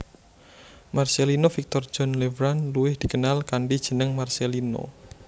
Marcellino Victor John Lefrand luwih dikenal kanthi jeneng Marcellino